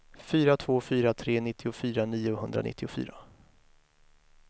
fyra två fyra tre nittiofyra niohundranittiofyra